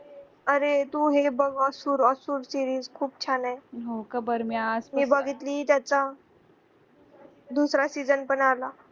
अरे तू हे जे asur series खूप छानए मी बघितली त्याचा दुसरा पण आला